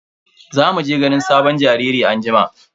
Za mu je ganin sabon jariri anjima.